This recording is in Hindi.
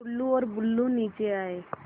टुल्लु और बुल्लु नीचे आए